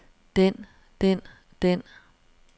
den den den